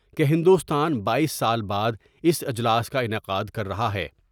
کہ ہندوستان بایس سال بعد اس اجلاس کا انعقادکررہا ہے۔